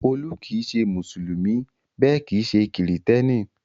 Olú kì í ṣe Mùsùlùmí bẹ́ẹ̀ kì í ṣe Kìrìtẹ́ẹ́nì.